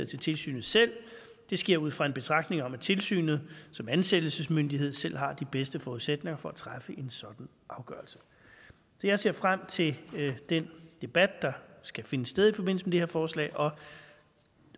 til tilsynet selv det sker ud fra en betragtning om at tilsynet som ansættelsesmyndighed selv har de bedste forudsætninger for at træffe en sådan afgørelse jeg ser frem til den debat der skal finde sted i forbindelse med det her forslag